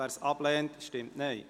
wer dieses ablehnt, stimmt Nein.